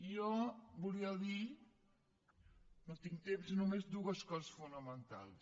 jo volia dir no tinc temps només dues coses fonamentals